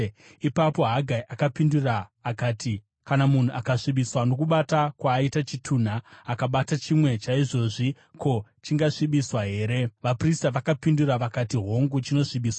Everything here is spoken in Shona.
Ipapo Hagai akapindura akati, “Kana munhu asvibiswa nokubata kwaaita chitunha, akabata chimwe chaizvozvi, ko, chingasvibiswa here?” Vaprista vakapindura vakati, “Hongu chinosvibiswa.”